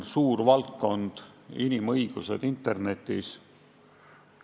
Suur valdkond on inimõigused internetis.